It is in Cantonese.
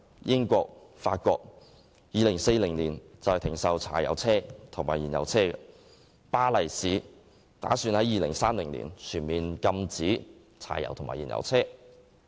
英國及法國打算在2040年停售柴油車及燃油車，而巴黎市亦打算在2030年全面禁止柴油車及燃油車。